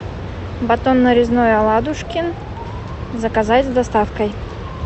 батон нарезной оладушкин заказать с доставкой